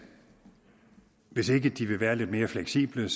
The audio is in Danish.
hvis ikke de vil være lidt mere fleksible